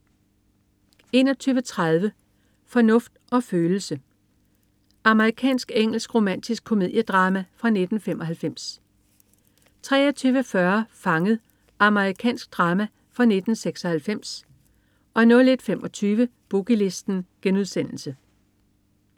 21.30 Fornuft og følelse. Amerikansk-engelsk romantisk komediedrama fra 1995 23.40 Fanget. Amerikansk drama fra 1996 01.25 Boogie Listen*